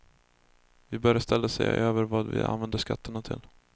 Vi bör i stället se över vad vi använder skatterna till.